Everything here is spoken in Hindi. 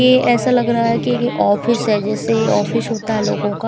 ये ऐसा लग रहा है कि यह ऑफिस है जैसे ये ऑफिस होता है लोगों का--